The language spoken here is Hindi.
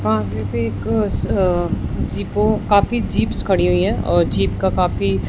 यहां पर जीपों काफी जीप खड़ी हुई है और जीप का काफी--